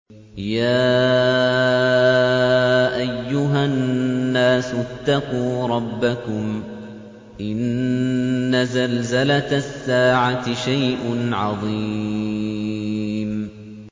يَا أَيُّهَا النَّاسُ اتَّقُوا رَبَّكُمْ ۚ إِنَّ زَلْزَلَةَ السَّاعَةِ شَيْءٌ عَظِيمٌ